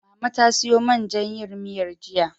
Mama ta siyo man jan yin miyar, jiya.